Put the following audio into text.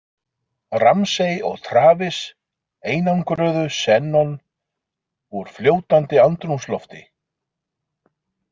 Ramsay og Travis einangruðu xenon úr fljótandi andrúmslofti.